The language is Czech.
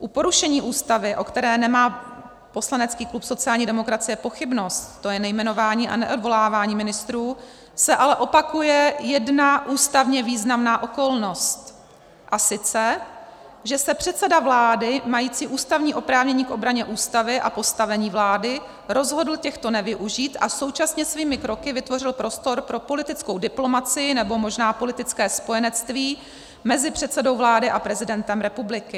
U porušení Ústavy, o které nemá poslanecký klub sociální demokracie pochybnost, to je nejmenování a neodvolávání ministrů, se ale opakuje jedna ústavně významná okolnost, a sice že se předseda vlády mající ústavní oprávnění k obraně Ústavy a postavení vlády rozhodl těchto nevyužít a současně svými kroky vytvořil prostor pro politickou diplomacii, nebo možná politické spojenectví mezi předsedou vlády a prezidentem republiky.